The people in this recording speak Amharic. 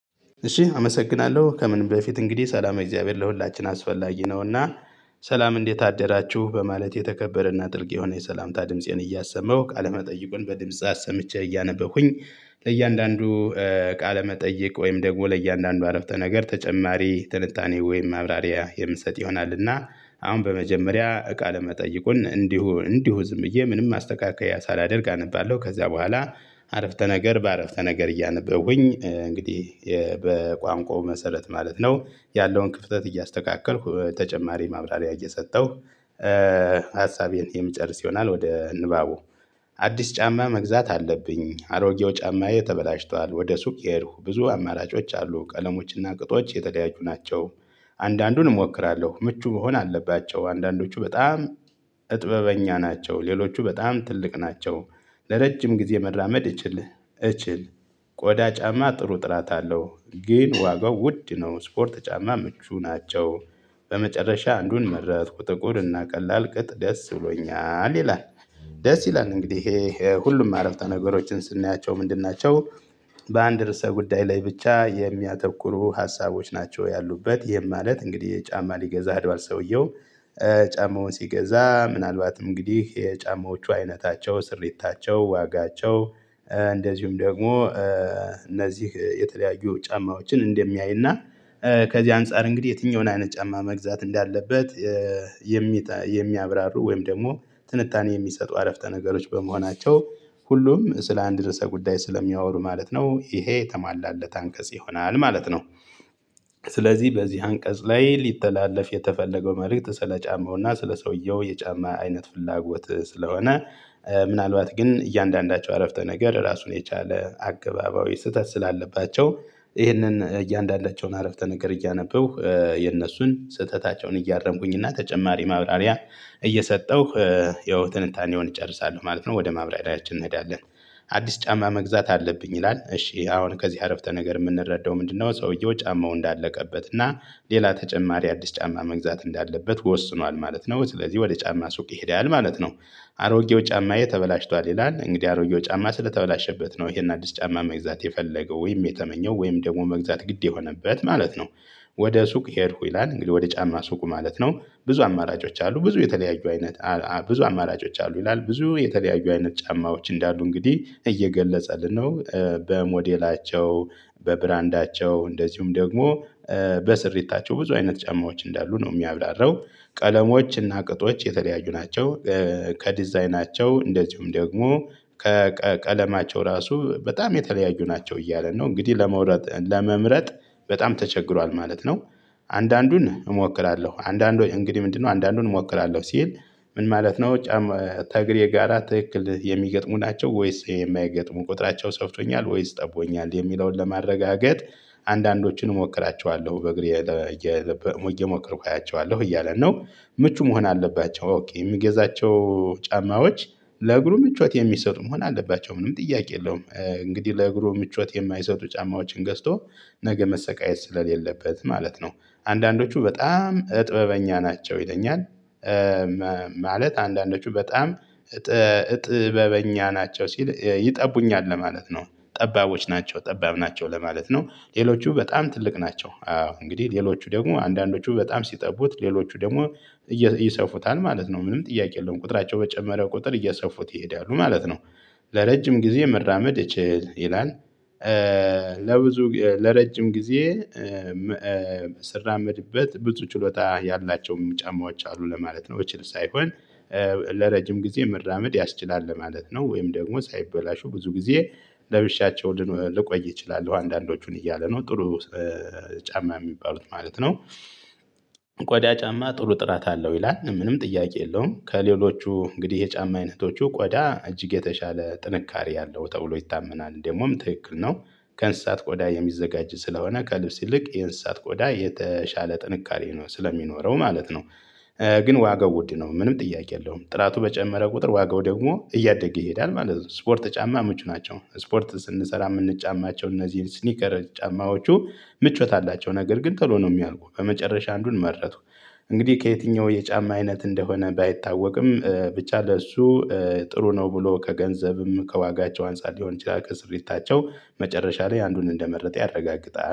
እሺ አመሰግናለሁ ከምን በፊት እንግዲህ ሰላም ለእግዚአብሔር ለሁላችን አስፈላጊ ነውና። ሰላም እንዴት አደራችሁ በማለት የተከበረና ጥልቅ የሆነ የሰላምታ ድምፄን እያሰመሁ ቃለመጠይቁን በድምጽ አሰምቼ እያነበብኩኝ ለእያንዳንዱ ቃለመጠየቅ ወይም ደግሞ ለእያንዳንዱ አረፍተ ነገር ተጨማሪ ትንታኔ ወይም ማብራሪያ የምሰጥ ይሆናልና። አሁን በመጀመሪያ እቃ ለመጠየቁን እንዲሁ እንዲሁ ዝምዬ ብዬ ምንም ማስተካከያ ሳላደርግ አነባለሁ። ከዛ በኋላ አረፍተ ነገር በአረፍተ ነገር እያነበብኩኝ እንግዲህ በቋንቋው መሰረት ማለት ነው ያለውን ክፍተት እያስተካከልኩ ተጨማሪ ማብራሪያ እየሰጠሁ። ሀሳቤን የምጨርስ ይሆናል። ወደ ንባቡ። አዲስ ጫማ መግዛት አለብኝ አሮጌው ጫማዬ ተበላሽቷል ወደ ሱቅ የሄድኩ ብዙ አማራጮች አሉ ቀለሞችና ቅጦች የተደያየቁ ናቸው። አንዳንዱን እሞክራለሁ ምቹ መሆን አለባቸው። አንዳንዶቹ በጣም እጥበበኛ ናቸው። ሌሎቹ በጣም ትልቅ ናቸው። ለረጅም ጊዜ መራመድ እችል እችል ቆዳ ጫማ ጥሩ ጥራት አለው። ግን ዋጋው ውድ ነው። ስፖርት ጫማ ምቹ ናቸው። በመጨረሻ አንዱን መረጥኩ ጥቁር እና ቀላል ቅጥ ደስ ብሎኛል ይላል። ደስ ይላል እንግዲህ ሁሉም አረፍተ ነገሮችን ስናያቸው ምንድን ናቸው? በአንድ ርዕሰ ጉዳይ ላይ ብቻ የሚያተኩሩ ሀሳቦች ናቸው ያሉበት ይሄም ማለት እንግዲህ ጫማ ሊገዛ ሄድዋል ሰውየው። ጫማውን ሲገዛ ምናልባትም እንግዲህ የጫማዎቹ አይነታቸው ስሪታቸው ዋጋቸው እንደዚሁም ደግሞ እነዚህ የተለያዩ ጫማዎችን እንደሚያይና። ከዚህ አንፃር እንግዲህ የትኛውን አይነት ጫማ መግዛት እንዳለበት። የሚያብራሩ ወይም ደግሞ ትንታኔ የሚሰጡ አረፍተ ነገሮች በመሆናቸው ሁሉም ስለ አንድ ርዕሰ ጉዳይ ስለሚያወሩ ማለት ነው። ይሄ የተሟላለት አንቀጽ ይሆናል ማለት ነው። ስለዚህ በዚህ አንቀጽ ላይ ሊተላለፍ የተፈለገው መልእክት ስለ ጫማውና ስለ ሰውየው የጫማ አይነት ፍላጎት ስለሆነ። ምናልባት ግን እያንዳንዳቸው አረፍተ ነገር ራሱን የቻለ አገባባዊ ስህተት ስላለባቸው። ይህንን እያንዳንዳቸውን አረፍተ ነገር እያነበብኩ የነሱን ስህተታቸውን እያረምኩኝ እና ተጨማሪ ማብራሪያ እየሰጠሁ ይኸው ትንታኔውን እጨርሳለሁ ማለት ነው። ወደ ማብራሪያችን እንሄዳለን። አዲስ ጫማ መግዛት አለብኝ ይላል እሺ አሁን ከዚህ አረፍተ ነገር የምንረዳው ምንድነው? ሰውየው ጫማው እንዳለቀበት እና ሌላ ተጨማሪ አዲስ ጫማ መግዛት እንዳለበት ወስኗል ማለት ነው። ስለዚህ ወደ ጫማ ሱቅ ይሄዳል ማለት ነው። አሮጌው ጫማዬ ተበላሽቷል ይላል እንግዲህ አሮጌው ጫማ ስለተበላሸበት ነው ይሄን አዲስ ጫማ መግዛት የፈለገው ወይም የተመኘው ወይም ደግሞ መግዛት ግድ የሆነበት ማለት ነው። ወደ ሱቅ ሄድኩ ይላል እንግዲህ ወደ ጫማ ሱቁ ማለት ነው። ብዙ አማራጮች አሉ ብዙ የተለያዩ አይነት ብዙ አማራጮች አሉ ይላል ብዙ የተለያዩ አይነት ጫማዎች እንዳሉ እንግዲህ እየገለጸልን ነው። በሞዴላቸው በብራንዳቸው እንደዚሁም ደግሞ በስሪታቸው ብዙ አይነት ጫማዎች እንዳሉ ነው የሚያብራራው። ቀለሞች እና ቅጦች የተለያዩ ናቸው። ከዲዛይናቸው እንደዚሁም ደግሞ ከቀለማቸው ራሱ በጣም የተለያዩ ናቸው እያለ ነው እንግዲህ ለመውረጥ ለመምረጥ በጣም ተቸግሯል ማለት ነው። አንዳንዱን እሞክራለሁ አንዳንድ እንግዲህ ምንድነው አንዳንዱን እሞክራለሁ ሲል ምን ማለት ነው? ተግሬ ጋራ ትክክል የሚገጥሙ ናቸው ወይስ የማይገጥሙ ቁጥራቸው ሰፍቶኛል ወይስ ጠቦኛል የሚለውን ለማረጋገጥ። አንዳንዶችን እሞክራቸዋለሁ በእግሬ እየሞከርኩ አያቸዋለሁ እያለ ነው። ምቹ መሆን አለባቸው አውቅ የሚገዛቸው ጫማዎች ለእግሩ ምቾት የሚሰጡ መሆን አለባቸው ምንም ጥያቄ የለውም። እንግዲህ ለእግሩ ምቾት የማይሰጡ ጫማዎችን ገዝቶ ነገ መሰቃየት ስለሌለበት ማለት ነው። አንዳንዶቹ በጣም እጥበበኛ ናቸው ይለኛል። ማለት አንዳንዶቹ በጣም ጥበበኛ ናቸው ሲል ይጠቡኛል ለማለት ነው። ጠባቦች ናቸው ጠባብ ናቸው ለማለት ነው ሌሎቹ በጣም ትልቅ ናቸው። እንግዲህ ሌሎቹ ደግሞ አንዳንዶቹ በጣም ሲጠቡት ሌሎቹ ደግሞ ይሰፉታል ማለት ነው። ምንም ጥያቄ የለውም ቁጥራቸው በጨመረ ቁጥር እየሰፉት ይሄዳሉ ማለት ነው። ለረጅም ጊዜ መራመድ እችል ይላል። ለብዙ ለረጅም ጊዜ ስራመድበት ብዙችሎታ ያላቸውም ጫማዎች አሉ ለማለት ነው። በችል ሳይሆን ለረጅም ጊዜ መራመድ ያስችላል ለማለት ነው። ወይም ደግሞ ሳይበላሹ ብዙ ጊዜ ለብሻቸው ልቆይ እችላለሁ አንዳንዶቹን እያለ ነው። ጥሩ ጫማ የሚባሉት ማለት ነው። ቆዲያ ጫማ ጥሩ ጥራት አለው ይላል ምንም ጥያቄ የለውም ከሌሎቹ እንግዲህ የጫማ አይነቶቹ ቆዳ እጅግ የተሻለ ጥንካሬ አለው ተብሎ ይታመናል ደግሞም ትክክል ነው። ከእንስሳት ቆዳ የሚዘጋጅ ስለሆነ ከልብስ ይልቅ የእንስሳት ቆዳ የተሻለ ጥንካሬ ነው ስለሚኖረው ማለት ነው። ግን ዋጋው ውድ ነው ምንም ጥያቄ የለውም ጥራቱ በጨመረ ቁጥር ዋጋው ደግሞ እያደገ ይሄዳል ማለት ነው። ስፖርት ጫማ ምቹ ናቸው ስፖርት ስንሰራ የምንጫማቸው እነዚህ ስኒከር ጫማዎቹ። ምቾት አላቸው ነገር ግን ቶሎ ነው የሚያልቁ። በመጨረሻ አንዱን መረጡ። እንግዲህ ከየትኛው የጫማ አይነት እንደሆነ ባይታወቅም ብቻ ለእሱ ጥሩ ነው ብሎ ከገንዘብም ከዋጋቸው አንፃር ሊሆን ይችላል። ታቸው መጨረሻ ላይ አንዱን እንደመረጠ ያረጋግጣል